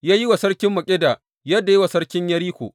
Ya yi wa sarkin Makkeda yadda ya yi wa sarkin Yeriko.